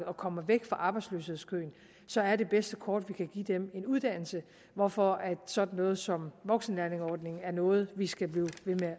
og kommer væk fra arbejdsløshedskøen så er det bedste kort vi kan give dem en uddannelse hvorfor sådan noget som voksenlærlingeordningen er noget vi skal blive